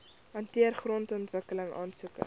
hanteer grondontwikkeling aansoeke